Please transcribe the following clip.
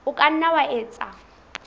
o ka nna wa etsa